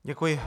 Děkuji.